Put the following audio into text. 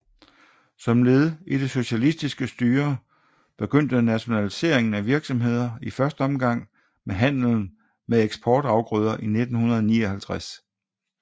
Som led i det socialistiske styre begyndte nationaliseringen af virksomheder i første omgang med handlen med eksportafgrøder i 1959